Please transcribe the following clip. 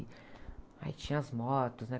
Aí tinha as motos, né?